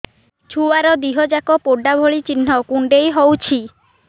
ଛୁଆର ଦିହ ଯାକ ପୋଡା ଭଳି ଚି଼ହ୍ନ କୁଣ୍ଡେଇ ହଉଛି